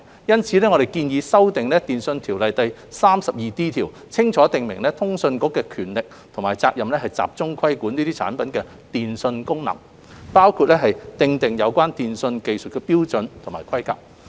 因此，我們建議修訂《電訊條例》第 32D 條，清楚訂明通訊局的權力及職責，集中規管這些產品的電訊功能，包括訂定有關電訊技術標準和規格。